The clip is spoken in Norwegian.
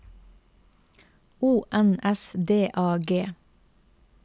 O N S D A G